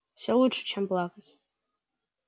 всё лучше чем плакать